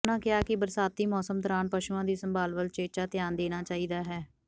ਉਨ੍ਹਾਂ ਕਿਹਾ ਕਿ ਬਰਸਾਤੀ ਮੌਸਮ ਦੌਰਾਨ ਪਸ਼ੂਆਂ ਦੀ ਸੰਭਾਲ ਵੱਲ ਉਚੇਚਾ ਧਿਆਨ ਦੇਣਾ ਚਾਹੀਦਾ ਹੈ